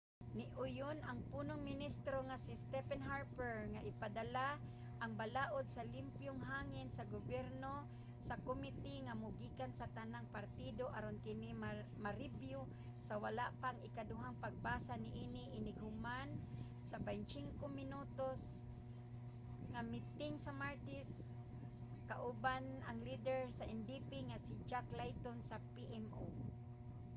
niuyon ang punong ministro nga si stephen harper nga ipadala ang 'balaud sa limpyong hangin sa gobyerno sa komite nga mogikan sa tanang partido aron kini marebyu sa wala pa ang ikaduhang pagbasa niini inig human sa 25 minuto nga miting sa martes kauban ang lider sa ndp nga si jack layton sa pmo